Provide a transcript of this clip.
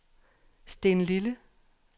Stenlille